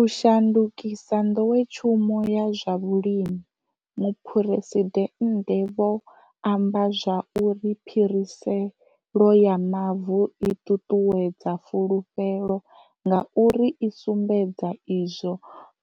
U shandukisa nḓowetshumo ya zwa vhulimi. Muphuresidennde vho amba zwa uri phiriselo ya mavu i ṱuṱuwedza fulufhelo ngauri i sumbedza izwo